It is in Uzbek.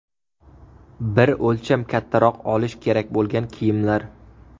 Bir o‘lcham kattaroq olish kerak bo‘lgan kiyimlar.